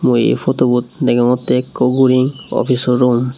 eh photobot degongte eko guri offiso room.